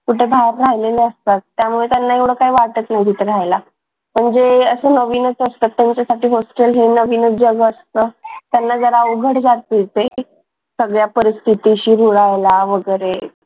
कुठे बाहेर राहिलेले असतात. त्यामुळे त्यांना एवढं काही वाटत नाही तिथे राहायला असे नवीन असतात त्यांच्यासाठी hostel हे नवीनच जवळ असतं त्यांना जरा उघड जातीचे सगळ्या परिस्थितीशी रुळायला वगैरे